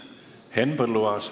Henn Põlluaas.